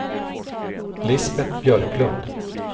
Lisbet Björklund